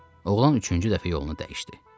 Oğlan üçüncü dəfə yolunu dəyişdi.